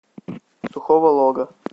сухого лога